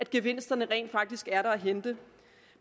gevinsterne rent faktisk er der at hente